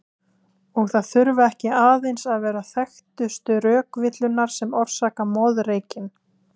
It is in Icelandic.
Og það þurfa ekki aðeins að vera þekktustu rökvillurnar sem orsaka moðreykinn.